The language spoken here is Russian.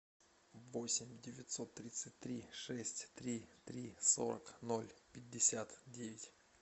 восемь девятьсот тридцать три шесть три три сорок ноль пятьдесят девять